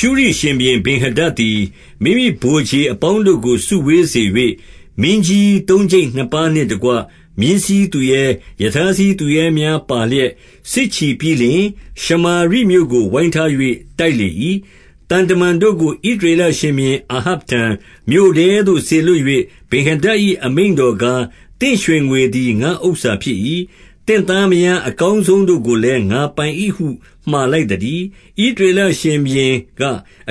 ရှုရိရှင်ဘုရင် ဗင်္ဟာဒဒ်သည် မိမိဗိုလ်ခြေ အပေါင်းတို့ကို စုဝေးစေ၍၊ မင်းကြီးသုံးကျိပ်နှစ်ပါးနှင့် တကွ မြင်းစီးသူရဲ၊ ရထားစီးသူရဲများပါလျက် စစ်ချီပြီး လျှင် ရှမာရိမြို့ကို ဝိုင်းထား၍ တိုက်လေ၏။ 2 သံတမန်တို့ကို ဣသရေလရှင်ဘုရင် အာဟပ် ထံ၊ မြို့ထဲသို့ စေလွှတ်၍၊ ဗင်္ဟာဒဒ်၏အမိန့်တော်ကား၊ 3 သင့်ရွှေငွေသည် ငါ့ဥစ္စာဖြစ်၏။ သင့်သားမယား အကောင်းဆုံးတို့ကိုလည်း ငါပိုင်၏ဟု မှာလိုက်သတည်း။ 4 ဣသရေလရှင်ဘုရင်က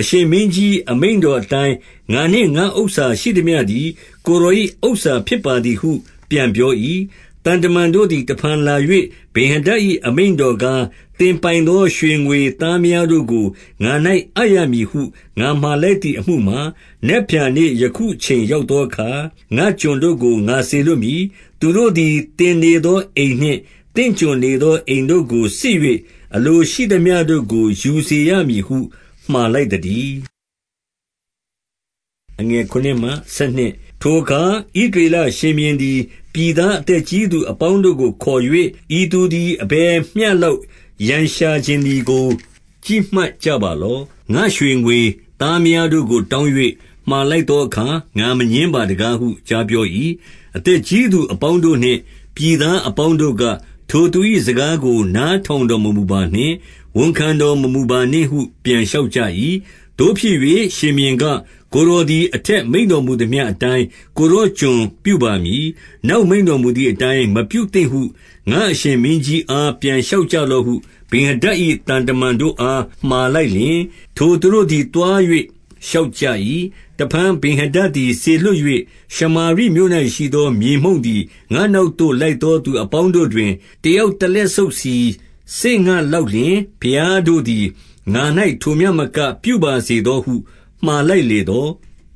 အရှင်မင်းကြီး၊ အမိန့်တော်အတိုင်း ငါနှင့်ငါ့ဥစ္စာရှိသမျှသည် ကိုယ်တော်၏ ဥစ္စာဖြစ်ပါသည်ဟု ပြန်ပြော၏။ 5 သံတမန်တို့သည် တဖန်လာ၍ ဗင်္ဟာဒဒ်၏ အမိန့်တော်ကား၊ သင်ပိုင်သော ရွှေငွေသားမယားတို့ကို ငါ၌အပ်ရမည်ဟု ငါမှာလိုက်သည် အမှုမှာ၊ 6 နက်ဖြန်နေ့ယခုအချိန်ရောက်သောအခါ ငါ့ကျွန်တို့ကို ငါစေလွှတ်မည်။ သူတို့သည် သင်နေသော အိမ်နှင့် သင့်ကျွန်နေသော အိမ်တို့ကိုစစ်၍ အလိုရှိသမျှ တို့ကို ယူစေရမည်ဟု မှာလိုက်သတည်း။ 7 ထိုအခါ ဣသရေလရှင်ဘုရင်သည် ပြည်သား အသက်ကြီးသူအပေါင်းတို့ကို ခေါ်၍၊ ဤသူသည် အဘယ်မျှလောက် ရန်ရှာချင်သည်ကို ကြည့်မှတ်ကြပါ လော့။ ငါ့ရွှေငွေသားမယားတို့ကို တောင်း၍ မှာလိုက် သော အခါ ငါမငြင်းပါတကားဟု ကြားပြော၏။ 8 အသက်ကြီးသူအပေါင်းတို့နှင့် ပြည်သား အပေါင်းတို့က၊ ထိုသူ၏ စကားကိုနားထောင်တော်မမူပါ နှင့်။ ဝန်ခံတော်မမူပါနှင့်ဟု ပြန်လျှောက်ကြ၏။ 9 သို့ဖြစ်၍ ရှင်ဘုရင်က၊ ကိုယ်တော်သည် အထက်မိန့်တော်မူသမျှအတိုင်း ကိုယ်တော်ကျွန်ပြုပါမည်။ နောက် မိန့်တော်မူသည်အတိုင်း မပြုသင့်ဟု ငါအရှင်မင်းကြီးအား ပြန်လျှောက်ကြလော့ဟု ဗင်္ဟာဒဒ်၏သံတမန်တို့ အား မှာလိုက်လျှင်၊ ထိုသူတို့သည် သွား၍လျှောက်ကြ၏။ 10 တဖန်ဗင်္ဟာဒဒ်သည် စေလွှတ်၍၊ ရှမာရိမြို့၌ ရှိသော မြေမှုန့်သည် ငါ့နောက်သို့ လိုက်သောသူအပေါင်း တို့တွင်၊ တယောက်တလက်ဆုပ်စီစေ့ငလောက်လျှင်၊ ဘုရားတို့သည် ငါ၌ ထိုမျှမကပြုပါစေသောဟု မှာလိုက် လေသော်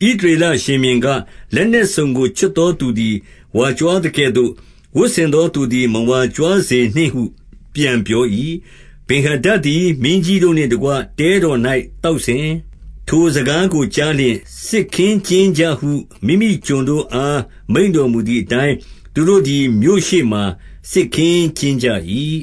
၊ 11 ဣသရေလရှင်ဘုရင်က၊ လက်နက်စုံကို ချွတ်သောသူသည် ဝါကြွားသကဲ့သို့ ဝတ်ဆင်သောသူသည် မဝါကြွားစေနှင့်ဟု ပြန်ပြော၏။ 12 ဗင်္ဟာဒဒ်သည် မင်းကြီးတို့နှင့်တကွ တဲတော်၌ သောက်စဉ်၊ ထိုစကားကိုကြားလျှင် စစ်ခင်းကျင်းကြဟု မိမိကျွန်တို့အား မိန့်တော်မူသည်အတိုင်း၊ သူတို့သည် မြို့ရှေ့မှာစစ်ခင်းကျင်းကြ၏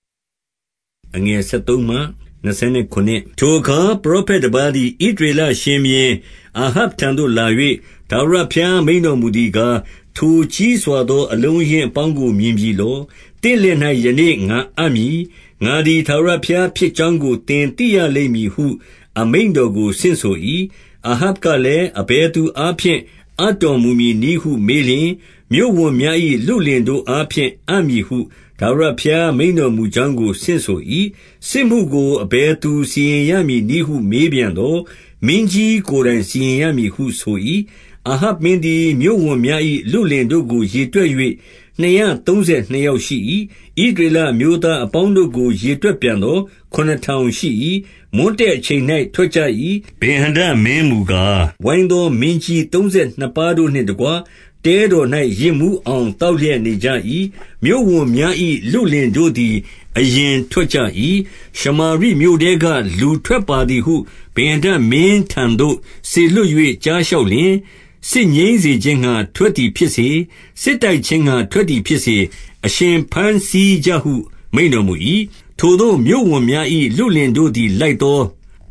။ 13 ထိုအခါ ပရောဖက်တပါးသည် ဣသရေလ ရှင်ဘုရင်အာဟပ်ထံသို့လာ၍၊ ထာဝရဘုရားမိန့်တော်မူ သည်ကား၊ ထိုကြီးစွာသော အလုံးအရင်းအပေါင်းကို မြင်ပြီလော။ သင့်လက်၌ ယနေ့ငါအပ်မည်။ ငါသည် ထာဝရဘုရားဖြစ်ကြောင်းကို သင်သိရလိမ့်မည်ဟု အမိန့်တော်ကို ဆင့်ဆို၏။ 14 အာဟပ်ကလည်း၊ အဘယ်သူအားဖြင့် အပ်တော်မူမည်နည်းဟု မေးလျှင်၊ မြို့ဝန်များ၏လုလင်တို့ အားဖြင့် အပ်မည်ဟု ထာဝရဘုရားမိန့်တော်မူကြောင်းကို ဆင့်ဆို၏။ စစ်မှုကိုအဘယ်သူစီရင်ရမည်နည်းဟု မေးပြန်သော်၊ မင်းကြီးကိုယ်တိုင်စီရင်ရမည်ဟု ဆို၏။ 15 အာဟပ်မင်းသည်မြို့ဝန်များ၏ လုလင်တို့ကို ရေတွက်၍ နှစ်ရာသုံးဆယ်နှစ်ယောက်ရှိ၏။ ဣသရေလ အမျိုးသားအပေါင်းတို့ကို ရေတွက်ပြန်သော် ခုနစ်ထောင် ရှိ၏။ 16 မွန်းတည့်အချိန်၌ ထွက်ကြ၏။ ဗင်္ဟာဒဒ်မင်းမူကား၊ ဝိုင်းသော မင်းကြီးသုံးဆယ်နှစ်ပါးတို့နှင့်တကွ တဲတော်၌ ယစ်မူးအောင် သောက်လျက် နေကြ၏။ 17 မြို့ဝန်များ၏ လုလင်တို့သည် အရင်ထွက်ကြ၏။ ရှမာရိမြို့ထဲက လူထွက်ပါသည်ဟု ဗင်္ဟာဒဒ်မင်းထံသို့ စေလွှတ်၍ ကြားလျှောက်လျှင်၊ 18 စစ်ငြိမ်းစေခြင်းငှါ ထွက်သည်ဖြစ်စေ၊ စစ်တိုက် ခြင်းငှါ ထွက်သည်ဖြစ်စေ၊ အရှင်ဘမ်းဆီးကြဟု မိန့်တော် မူ၏။ 19 ထိုသို့မြို့ဝန်များ၏ လုလင်တို့သည် လိုက်သော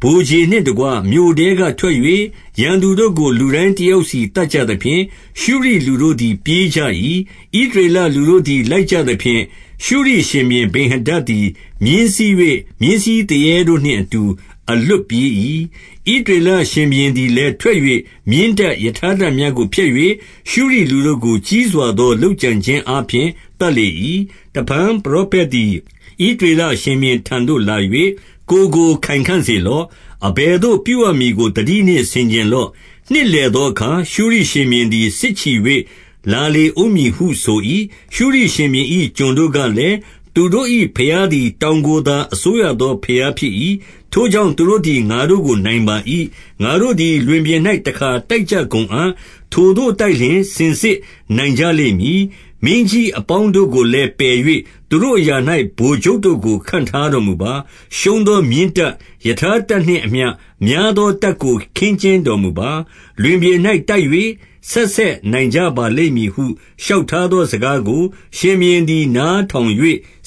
ဗိုလ်ခြေနှင့်တကွ မြို့ထဲကထွက်၍၊ 20 ရန်သူတို့ကို လူတိုင်းတယောက်စီ သတ်ကြသဖြင့် ရှုရိလူတို့သည် ပြေးကြ၏။ ဣသရေလလူတို့သည် လိုက်ကြသဖြင့် ရှုရိရှင်ဘုရင်ဗင်္ဟာဒဒ်သည် မြင်းစီး၍ မြင်းစီးသူရဲတို့နှင့်အတူ အလွတ်ပြေး၏။ 21 ဣသရေလရှင်ဘုရင်သည်လည်း ထွက်၍ မြင်းတပ်၊ ရထားတပ်များကို ဖျက်၍ ရှုရိလူတို့ကို ကြီးစွာသော လုပ်ကြံခြင်းအားဖြင့် သတ်လေ၏။ 22 တဖန်ပရောဖက်သည် ဣသရေလရှင်ဘုရင်ထံသို့လာ၍၊ ကိုယ်ကိုခိုင်ခံ့စေလော့။ အဘယ်သို့ပြုရမည်ကို သတိနှင့်ဆင်ခြင်လော့။ နှစ်လည်သောအခါ ရှုရိ ရှင်ဘုရင်သည် စစ်ချီ၍ လာလေဦးမည်ဟုဆို၏။ 23 ရှုရိရှင်ဘုရင်၏ ကျွန်တို့ကလည်း၊ သူတို့၏ဘုရား သည် တောင်ကိုသာ အစိုးရသော ဘုရားဖြစ်၏။ ထိုကြောင့် သူတို့သည် ငါတို့ကို နိုင်ပါ၏။ ငါတို့သည် လွင်ပြင်၌ တခါတိုက်ကြကုန်အံ့။ ထိုသို့တိုက်လျှင် စင်စစ် နိုင်ကြလိမ့်မည်။ 24 မင်းကြီးအပေါင်းတို့ကိုလည်း ပယ်၍ သူတို့ အရာ၌ ဗိုလ်ချုပ်တို့ကို ခန့်ထားတော်မူပါ။ 25 ရှုံးသောမြင်းတပ်၊ ရထားတပ်နှင့်အမျှ များသော တပ်ကို ခင်းကျင်းတော်မူပါ။ လွင်ပြင်၌ တိုက်၍ ဆက်ဆက်နိုင်ကြပါလိမ့်မည်ဟု လျှောက်ထားသော စကားကိုရှင်ဘုရင်သည် နားထောင်၍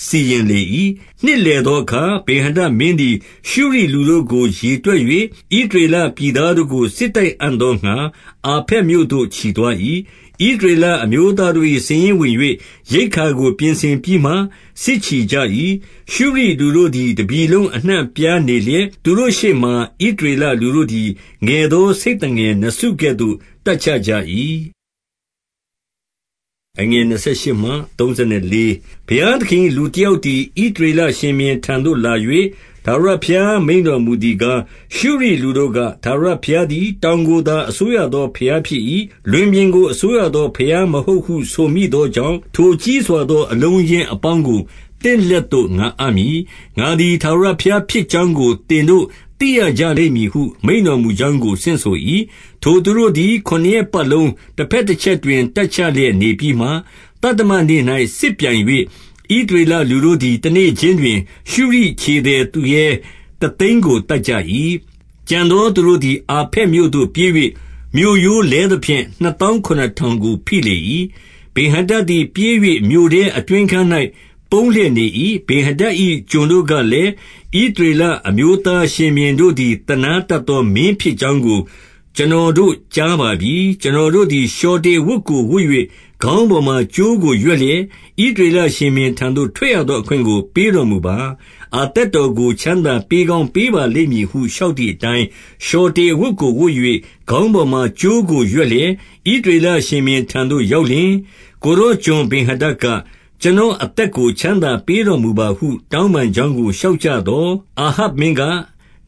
စီရင်လေ၏။ 26 နှစ်လည်သောအခါ ဗင်္ဟာဒဒ်မင်းသည် ရှုရိလူတို့ကို ရေတွက်၍ ဣသရေလပြည်သားတို့ကို စစ်တိုက်အံ့သော ငှါ၊ အာဖက်မြို့သို့ ချီသွား၏။ 27 ဣသရေလအမျိုးသားတို့သည် စာရင်းဝင်၍ ရိက္ခာကို ပြင်ဆင်ပြီးမှစစ်ချီကြ၏။ ရှုရိလူတို့သည် တပြည် လုံးအနှံ့ အပြားနေလျက်၊ သူတို့ရှေ့မှာ ဣသရေလ လူတို့သည် ငယ်သောဆိတ်သငယ်နှစ်စုကဲ့သို့တပ်ချကြ ၏။ 28 ဘုရားသခင်၏ လူတယောက်သည် ဣသရေလ ရှင်ဘုရင်ထံသို့ လာ၍ ထာဝရဘုရားမိန့်တော်မူသည် ကား၊ ရှုရိလူတို့က ထာဝရဘုရားသည် တောင်ကိုသာအစိုးရသော ဘုရားဖြစ်၏။ လွင်ပြင်ကိုအစိုးရသော ဘုရားမဟုတ်ဟု ဆိုမိသောကြောင့်၊ ထိုကြီးစွာသော အလုံးအရင်းအပေါင်းကို သင့်လက်သို့ ငါအပ်မည်။ ငါသည် ထာဝရဘုရားဖြစ်ကြောင်းကို သင်တို့သိရကြလိမ့် မည်ဟု မိန့်တော်မူကြောင်းကို ဆင့်ဆို၏။ 29 ထိုသူတို့သည် ခုနစ်ရက်ပတ်လုံးတဘက်တချက်တွင် တပ်ချလျက် နေပြီးမှ၊ သတ္တမနေ့၌ စစ်ပြိုင်၍ ဣသရေလလူတို့သည် တနေ့ခြင်းတွင် ရှုရိခြေသည် သူရဲတသိန်းကို သတ်ကြ၏။ 30 ကျန်သောသူတို့သည် အာဖက်မြို့သို့ ပြေး၍ မြို့ရိုးလဲသဖြင့် နှစ်သောင်းခုနစ်ထောင်ကို ဖိလေ၏။ ဗင်္ဟာဒဒ်သည် ပြေး၍မြို့ထဲအတွင်း အခန်း၌ ပုန်းလျက် နေ၏။ 31 ဗင်္ဟာဒဒ်၏ ကျွန်တို့ကလည်း၊ ဣသရေလ အမျိုးသားရှင်ဘုရင်တို့သည် သနားတတ်သောမင်းဖြစ် ကြောင်းကို ကျွန်တော်တို့ ကြားပါပြီ။ ကျွန်တော်တို့သည် လျှော်တေအဝတ်ကို ဝတ်၍၊ ခေါင်းပေါ်မှာ ကြိုးကို ရွက်လျက်၊ ဣသရေလရှင်ဘုရင်ထံသို့ ထွက်ရသောအခွင့် ကို ပေးတော်မူ ပါ။ အသက်တော်ကို ချမ်းသာပေးကောင်း ပေးပါလိမ့်မည်ဟု လျှောက်သည်အတိုင်း၊ 32 လျှော်တေအဝတ်ကိုဝတ်၍၊ ခေါင်းပေါ်မှာ ကြိုးကိုရွက်လျက်၊ ဣသရေလရှင်ဘုရင်ထံသို့ ရောက် လျှင်၊ ကိုယ်တော်ကျွန်ဗင်္ဟာဒဒ်က၊ ကျွန်တော်အသက်ကို ချမ်းသာပေးတော်မူပါဟု တောင်းပန်ကြောင်းကို လျှောက်ကြသော်၊ အာဟပ်မင်းက၊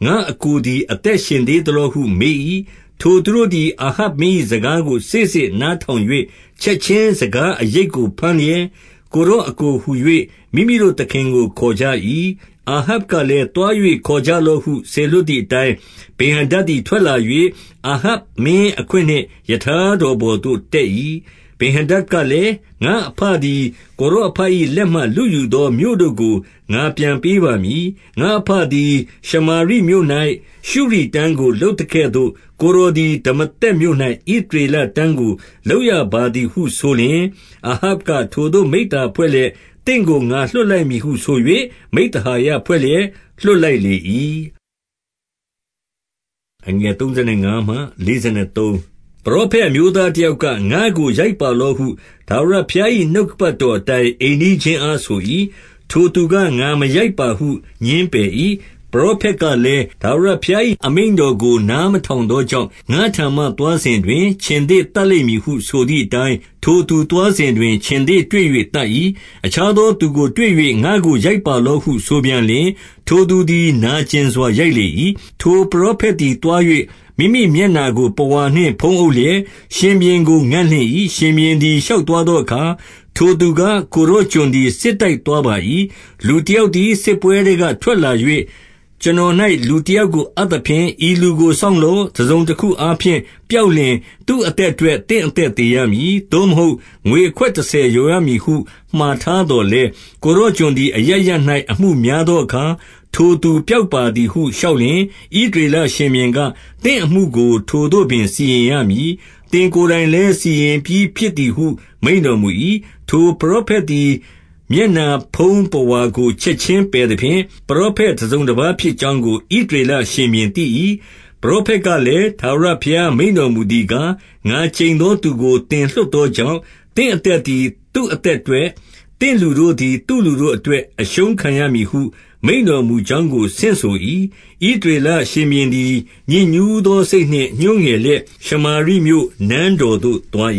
ငါ့အစ်ကိုသည် အသက်ရှင်သေးသလောဟုမေး၏။ 33 ထိုသူတို့သည် အာဟပ်မင်း၏ စကားကို စေ့စေ့ နားထောင်၍၊ ချက်ခြင်းစကားအရိပ်ကို ဘမ်းလျက်၊ ကိုယ်တော်အစ်ကိုဟူ၍ မိမိတို့သခင်ကို ခေါ်ကြ၏။ အာဟပ်ကလည်းသွား၍ ခေါ်ကြလော့ဟု စေလွှတ်သည် အတိုင်း ဗင်္ဟာဒဒ်သည် ထွက်လာ၍၊ အာဟပ်မင်းအခွင့် နှင့် ရထားတော်ပေါ်သို့ တက်ရ၏။ 34 ဗင်္ဟာဒဒ်ကလည်း၊ ငါ့အဘသည် ကိုယ်တော် အဘ၏ လက်မှ လုယူသော မြို့တို့ကို ငါပြန်ပေးပါမည်။ ငါ့အဘသည် ရှမာရိမြို့၌ ရှုရိတန်းကို လုပ်သကဲ့သို့ ကိုယ်တော်သည် ဒမာသက်မြို့၌ ဣသရေလတန်းကို လုပ်ရပါသည်ဟုဆိုလျက်၊ အာဟပ်ကထိုသို့ မိဿဟာယ ဖွဲ့လျက်၊ သင့်ကို ငါလွှတ်လိုက်မည်ဟုဆို၍ မိဿဟာယ ဖွဲ့လျက် လွှတ်လိုက်လေ၏။ 35 ပရောဖက်အမျိုးသားတယောက်က၊ ငါ့ကို ရိုက်ပါလော့ဟု ထာဝရဘုရား၏ နှုတ်ကပတ်တော် အတိုင်း အိမ်နီးချင်းအားဆို၏။ ထိုသူက ငါမရိုက်ပါဟု ငြင်းပယ်၏။ 36 ပရောဖက်ကလည်း၊ ထာဝရဘုရား၏ အမိန့် တော်ကို နားမထောင်သောကြောင့် ငါ့ထံမှသွားစဉ်တွင်၊ ခြင်္သေ့သတ်လိမ့်မည်ဟုဆိုသည်အတိုင်း၊ ထိုသူသွားစဉ် တွင် ခြင်္သေ့တွေ့၍ သတ်၏။ 37 အခြားသောသူကိုတွေ့၍ ငါ့ကိုရိုက်ပါလော့ဟု ဆိုပြန်လျှင်၊ ထိုသူသည် နာကျင်စွာရိုက်လေ၏။ 38 ထိုပရောဖက်သည်သွား၍ မိမိမျက်နှာကို ပုဝါ နှင့် ဖုံးအုပ်လျက် ရှင်ဘုရင်ကို ငံ့လင့်၏။ 39 ရှင်ဘုရင်သည် ရှောက်သွားသောအခါ ထိုသူက၊ ကိုယ်တော်ကျွန်သည် စစ်တိုက်သွားပါ၏။ လူတယောက် သည် စစ်ပွဲထဲက ထွက်လာ၍ ကျွန်တော်၌ လူတယောက် ကို အပ်သဖြင့် ဤလူကိုစောင့်လော့။ တစုံတခုအားဖြင့် ပျောက်လျှင်သူ့အသက်အတွက် သင့်အသက်သေရမည်။ သို့မဟုတ်ငွေအခွက်တဆယ် လျော်ရမည်ဟု မှာထား သော်လည်း၊ 40 ကိုယ်တော်ကျွန်သည် အရပ်ရပ်၌ အမှုများသောအခါ၊ ထိုသူ ပျောက်ပါသည်ဟု လျှောက်လျှင်၊ ဣသရေလရှင်ဘုရင်က၊ သင့်အမှုကို ထိုသို့ပင် စီရင်ရ မည်။ သင့်ကိုယ်တိုင်လည်း စီရင်ပြီးဖြစ်သည်ဟု မိန့်တော် မူ၏။ 41 ထိုပရောဖက်သည်မျက်နှာဖုံးပုဝါကို ချက်ခြင်းပယ်သဖြင့်၊ ပရောဖက်တစုံတပါးဖြစ်ကြောင်းကို ဣသ ရေလရှင်ဘုရင်သိ၏။ 42 ပရောဖက်ကလည်း၊ ထာဝရဘုရားမိန့်တော်မူသည်ကား၊ ငါကျိန်သောသူကို သင်လွှတ်သောကြောင့်၊ သင့်အသက်သည် သူ့အသက်အတွက်၊ သင့်လူတို့သည် သူ့လူတို့အတွက် အရှုံးခံရမည်ဟု မိန့်တော်မူကြောင်းကို ဆင့်ဆို၏။ 43 ဣသရေလရှင်ဘုရင်သည် ညစ်ညူးသော စိတ်နှင့်ညှိုးငယ်လျက် ရှမာရိမြို့၊ နန်းတော်သို့သွား